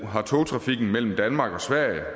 har togtrafikken mellem danmark og sverige